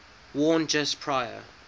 worn just prior